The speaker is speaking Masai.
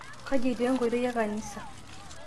kaji etii enkoitoi ekanisa?